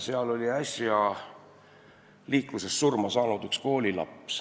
Seal oli äsja liikluses surma saanud üks koolilaps.